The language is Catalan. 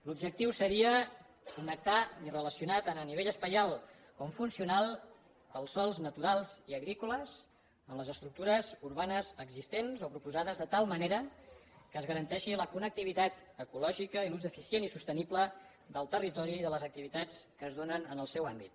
l’objectiu seria connectar i relacionar tant a nivell espacial com funcional els sòls naturals i agrícoles amb les estructures urbanes existents o proposades de tal manera que es garanteixi la connectivitat ecològica i l’ús eficient i sostenible del territori i de les activitats que es donen en el seu àmbit